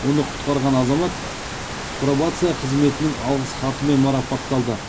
оны құтқарған азамат пробация қызметінің алғыс хатымен марапатталды